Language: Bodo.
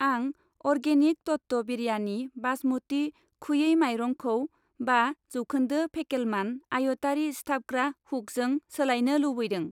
आं अर्गेनिक तत्व बिरयानि बासमति खुयै मायरंखौ बा जौखोन्दो फेकेलमान आयतआरि सिथाबग्रा हुकजों सोलायनो लुबैदों।